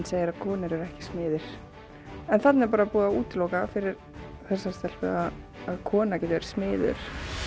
segir að konur eru ekki smiðir þarna er bara búið að útiloka fyrir þessari stelpu að kona geti verið smiður